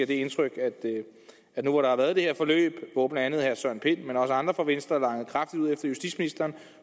det indtryk at nu hvor der har været det her forløb hvor blandt andet herre søren pind men også andre fra venstre langede kraftigt ud efter justitsministeren